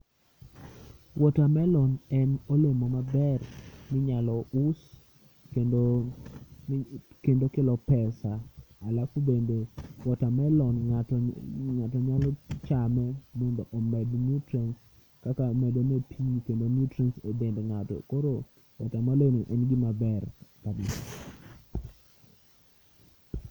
Watermelon en olemo maber minyalo us kendo, ni kendo kelo pesa. Alafu bende watermelo ng'ato, ng'ato nyalo chame mondo omed nutrients kaka medone pi kendo nutrients e dend ng'ato. Koro watermelo en gima ber kabisa.